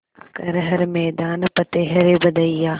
कर हर मैदान फ़तेह रे बंदेया